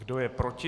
Kdo je proti?